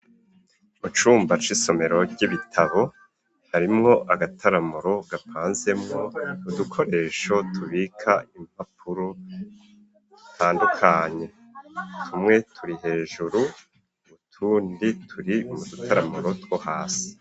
Mucumba c'isomero ry'ibitabo harimwo agataramuro gapanzemwo udukoresho tubika impapuro zitandukanye tumwe turi hejuru utundi turi mu dutaramuro two hasi.